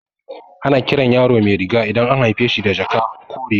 Ana kiran yaro Mairiga idan an haife shi da jaka ko riga